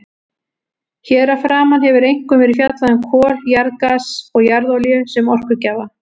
Hér að framan hefur einkum verið fjallað um kol, jarðgas og jarðolíu sem orkugjafa.